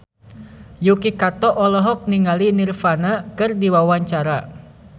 Yuki Kato olohok ningali Nirvana keur diwawancara